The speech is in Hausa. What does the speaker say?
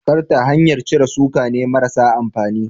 Karta hanyar cire suka ne marasa amfani.